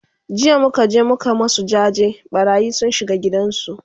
jiya muka je muka masu jaje, ɓarayi sun shiga gidan su